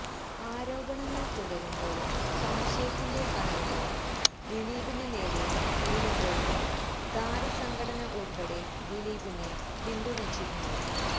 ആരോപണങ്ങള് തുടരുമ്പോഴും സംശയത്തിന്റെ കണ്ണുകള് ദിലീപിന് നേരെ നീളുമ്പോഴും താരസംഘടന ഉള്പ്പടെ ദിലീപിനെ പിന്തുണച്ചിരുന്നു